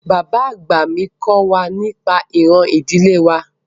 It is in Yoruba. Bàbá àgbà mi kọ́ wa nípa ìran ìdílé wa